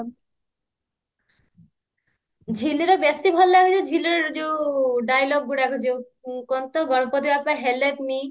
ଝିଲିର ବେଶୀ ଭଲ ଲାଗେ ଯଉ ଝିଲିର ଯଉ dialogue ଗୁଡାକ ଯଉ କଣ ତ ଗଣପତି ବପ୍ପା help me